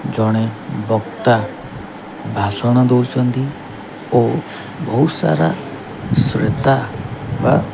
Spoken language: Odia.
ଜଣେ ବକ୍ତା ଭାଷଣ ଦଉଛନ୍ତି ଓ ବହୁତ ସାରା ସ୍ରୋତା ବା --